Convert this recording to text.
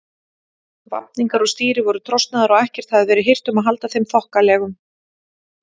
Vafningar á stýri voru trosnaðir og ekkert hafði verið hirt um að halda þeim þokkalegum.